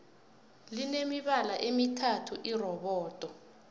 line mibala emithathu irobodo